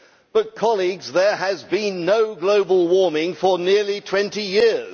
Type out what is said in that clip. But, colleagues, there has been no global warming for nearly 20 years.